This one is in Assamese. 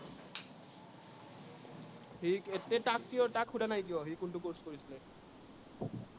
সি তাক তাক শুধা নাই কিয়? সি কোনটো course কৰিছিলে